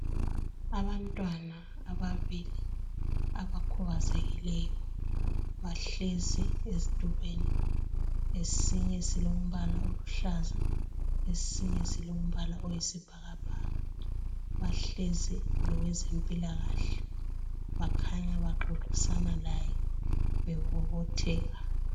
abantwana ababili abakhubazekileyo bahleziezitulweni esinye silombala oluhlaza esinye silombala oyisibhakabhaka bahlezi lowezempilakahle bakhanya baxoxisana laye bemomotheka